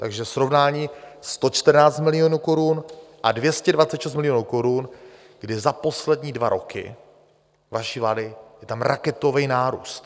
Takže srovnání 114 milionů korun a 226 milionů korun, kdy za poslední dva roky vaší vlády je tam raketový nárůst.